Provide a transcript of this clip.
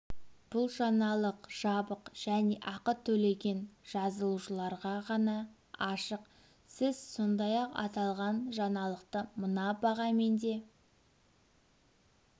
бұл жаңалық жабық және ақы төлеген жазылушыларға ғана ашық сіз сондай-ақ аталған жаңалықты мына бағамен де